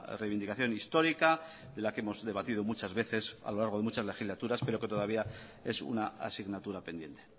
reivindicación histórica de la que hemos debatido muchas veces a lo largo de muchas legislaturas pero que todavía es una asignatura pendiente